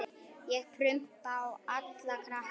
Ég prumpa á alla krakka.